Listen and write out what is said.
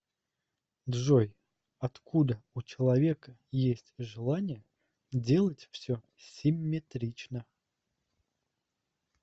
джой откуда у человека есть желание делать все симметрично